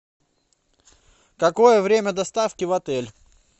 какое время доставки в отель